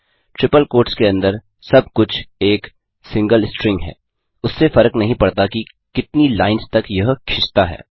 triple quotes के अंदर सब कुछ एक सिंगल स्ट्रिंग है उससे फर्क नहीं पड़ता कि कितनी लाइन्स तक यह खिचता है